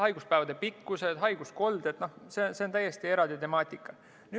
Haiguspäevade arv, haiguskolded – see on täiesti eraldi temaatika.